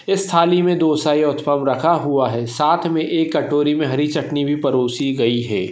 इस थाली मे दो रखा हुआ है साथ मे एक कटोरी मे हरी चटनी भी परोसी गई है।